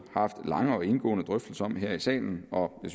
haft lange og indgående drøftelser om her i salen og